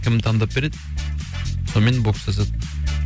кімді таңдап береді сомен бокстасады